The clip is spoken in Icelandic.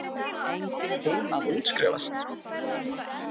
Hún að útskrifast.